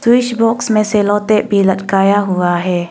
और इस बॉक्स में से लौटे भी लटकाया हुआ है।